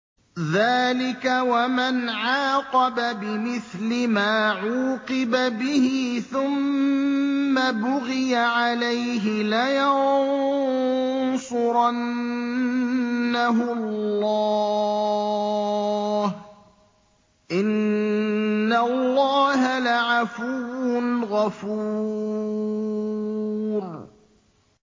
۞ ذَٰلِكَ وَمَنْ عَاقَبَ بِمِثْلِ مَا عُوقِبَ بِهِ ثُمَّ بُغِيَ عَلَيْهِ لَيَنصُرَنَّهُ اللَّهُ ۗ إِنَّ اللَّهَ لَعَفُوٌّ غَفُورٌ